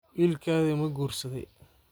Wilkadha makuursadhey?